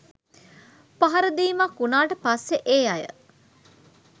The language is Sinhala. පහරදීමක් වුණාට පස්සෙ ඒ අය